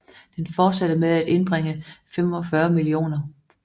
Den fortsatte med at indbringe 65 mio